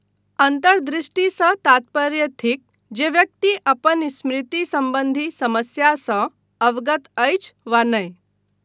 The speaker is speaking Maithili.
अन्तर्दृष्टिसँ तात्पर्य थिक जे व्यक्ति अपन स्मृति सम्बन्धी समस्यासँ अवगत अछि वा नहि।